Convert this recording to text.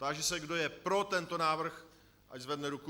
Táži se, kdo je pro tento návrh, ať zvedne ruku.